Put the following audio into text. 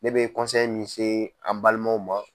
Ne bɛ min se a balimaw ma.